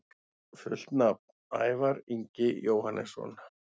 Fullt nafn: Ævar Ingi Jóhannesson